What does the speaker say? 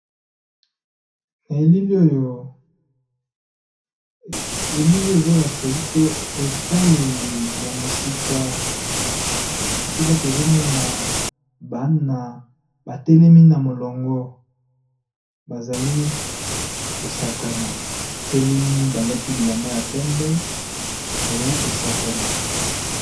Na elili oyo ezolakisa biso etaleli ya musika tozomona bana batelemi na molongo bazali kosakana ba telemi balati bilamba ya pembe.